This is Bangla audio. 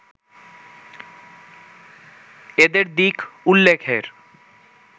এদের দিক উল্লেখের